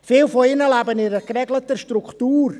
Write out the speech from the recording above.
Viele von ihnen leben in einer geregelten Struktur.